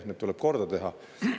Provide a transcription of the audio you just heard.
Need tuleb korda teha.